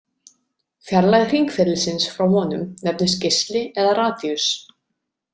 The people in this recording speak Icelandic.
Fjarlægð hringferilsins frá honum nefnist geisli eða radíus.